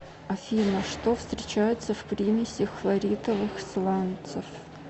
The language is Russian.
афина что встречается в примеси хлоритовых сланцев